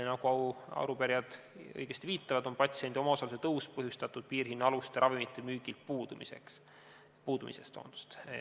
Nagu arupärijad õigesti viitavad, on patsiendi omaosaluse tõus põhjustatud piirhinnaaluste ravimite müügilt puudumisest.